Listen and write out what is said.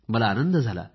मला आनंद झाला